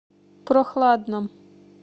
прохладном